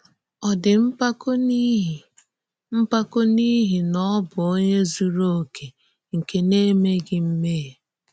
Ọ̀ dị̀ mpákọ̀ n’íhì mpákọ̀ n’íhì na ọ bụ onye zùrù òkè nke na-èmèghị mmèhie?